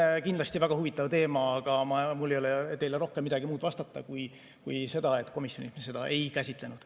See on kindlasti väga huvitav teema, aga mul ei ole teile rohkem midagi muud vastata kui seda, et komisjonis me seda ei käsitlenud.